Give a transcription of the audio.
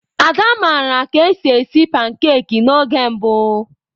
Ada maara ka esi esi pankeki n'oge mbụ.